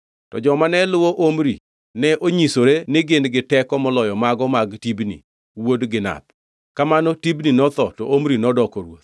To joma ne luwo Omri ne onyisore ni gin giteko moloyo mago mag Tibni wuod Ginath. Kamano Tibni notho to Omri nodoko ruoth.